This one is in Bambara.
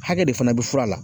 Hakɛ de fana be fura la